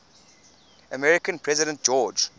american president george